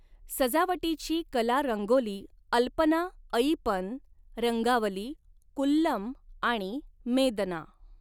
सजावटीची कला रंगोली अल्पना अइपन रंगावली कुल्लम आणि मेदना.